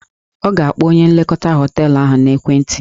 Ọ ga-akpọ onye nlekọta họteelụ ahụ n'ekwenti